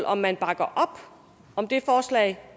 om man bakker op om det forslag